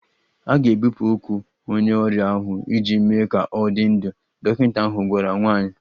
A ga-ebipụ ụkwụ onye ọrịa ahụ iji mee ka ọ dị ndụ, dọkịta ahụ gwara nwanyị